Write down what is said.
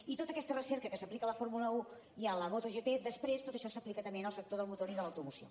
i tota aquesta recerca que s’aplica a la fórmula un i a la motogp després tot això s’aplica també en el sector del motor i de l’automoció